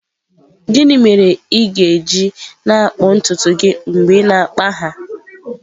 Gịnị mere ị ga-eji na-akpụ ntutu gị mgbe ị na-akpa ha?